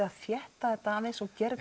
að þétta þetta aðeins og gera